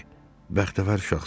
Bəxtəvər uşaqsan.